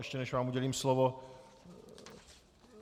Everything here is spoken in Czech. Ještě než vám udělím slovo...